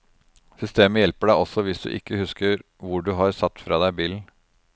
Systemet hjelper deg også hvis du ikke husker hvor du har satt fra deg bilen.